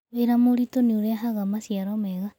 Wĩra mũritũ nĩ ũrehaga maciaro mega.